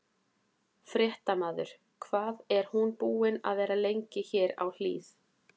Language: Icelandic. Fréttamaður: Hvað er hún búin að vera lengi hér á Hlíð?